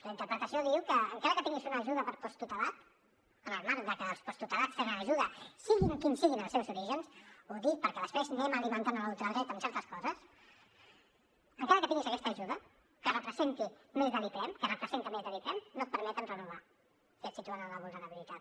la interpretació diu que encara que tinguis una ajuda per posttutelat en el marc de que els posttutelats tenen ajuda siguin quins siguin els seus orígens ho dic perquè després anem alimentant la ultradreta amb certes coses encara que tinguis aquesta ajuda que representi més de l’iprem que representa més de l’iprem no et permeten renovar i et situen en la vulnerabilitat